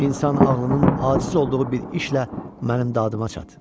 İnsan ağlının aciz olduğu bir işlə mənim dadıma çat.